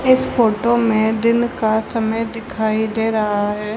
इस फोटो में दिन का समय दिखाई दे रहा है।